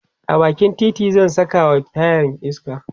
a bakin titi zan Saka wa tayar iska